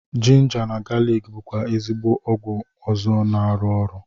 Jinja na galik bụkwa ezigbo ọgwụ ọzọ na-arụ ọrụ